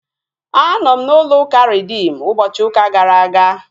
Anọ m n'ụlọ ụka Reedim ụbọchị ụka gara aga